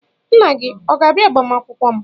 Nna gị ọ ga-abịa agbamakwụkwọ m?